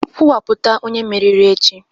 Kwuwapụta onye mmeri echi!